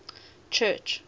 church